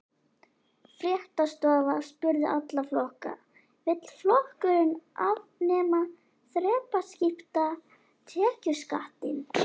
Fréttastofa spurði alla flokka: Vill flokkurinn afnema þrepaskipta tekjuskattinn?